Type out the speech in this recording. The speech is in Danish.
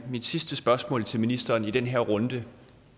mit sidste spørgsmål til ministeren i den her runde